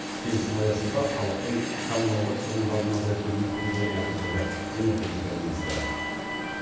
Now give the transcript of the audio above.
келісім аясында халықтың коммуналдық шығындарын азайту мүмкін болып отыр деді энергетика министрі